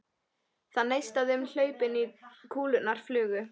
Það neistaði um hlaupin og kúlurnar flugu.